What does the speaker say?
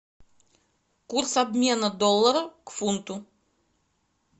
курс обмена доллара к фунту